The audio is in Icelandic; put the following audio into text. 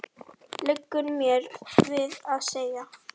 liggur mér við að segja.